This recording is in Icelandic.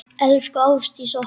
Elsku Ástdís okkar.